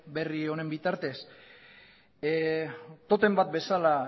berri honen bitartez totem bat bezala